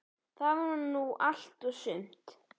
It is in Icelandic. Það var nú allt og sumt.